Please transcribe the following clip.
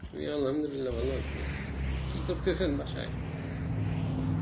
আমি আলহামদুলিল্লাহ ভালো আছি কি করতেছেন বাসায় ?